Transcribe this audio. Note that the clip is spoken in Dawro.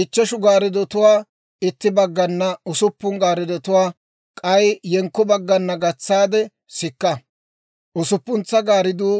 Ichcheshu gaarddotuwaa itti baggana, usuppun gaarddotuwaa k'ay yenkko baggana gatsaade sikka. Usuppuntsa gaardduu